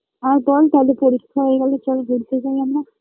আর বল তালে পরীক্ষা হয়ে গেলে চল ঘুরতে যাই আমরা